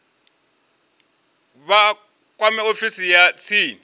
vha kwame ofisi ya tsini